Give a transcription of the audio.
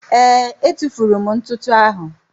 Ee, etufuru m ntụtụ áhụ̀.